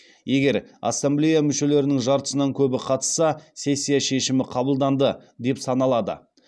егер ассамблея мүшелерінің жартысынан көбі қатысса сессия шешімі қабылданды деп саналады